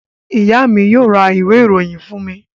Ìyá mi yóò ra ìwé-ìròyìn fún mi.